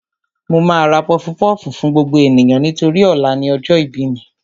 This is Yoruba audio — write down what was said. Mo máa ra pọfupọ́ọ̀fù fún gbogbo ènìyàn nítorí ọ̀la ni ọjọ́ ìbí mi